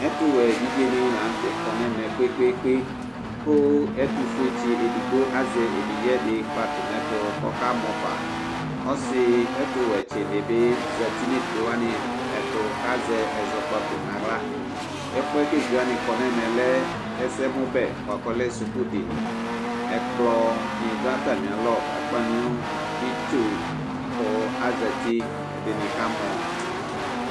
ɛtuwɛ evidze nɩ lanutɛ kɔ nʊ ɛmɛ kpekpekpe, kʊ ɛtufue tsi dɩ azɛ evidze dɩ kpatʊ nʊ ayɛtu kʊ ɔkamɔ fa, ɔsiwɛ dɩbɩ zati nʊ evidzewanɩ ɛtʊ kʊ azɛ, ɛzɔkpaku naɣla, ɛfu yɛ kʊ evidzewanɩ kɔ nʊ ɛmɛ lɛ ɛsɛmʊ bɛ bua kɔlɛ suku dini, ɛkplɔ nɩ lɛ nʊ atamialɔ kʊ akpa nʊ itsu, kʊ azati kʊ ɛdɩnɩ kamɔ